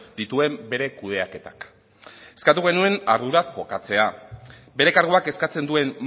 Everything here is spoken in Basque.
dituen bere kudeaketak eskatu genuen arduraz jokatzea bere karguak eskatzen duen